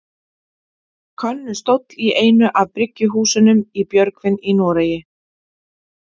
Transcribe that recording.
Könnustól í einu af bryggjuhúsunum í Björgvin í Noregi.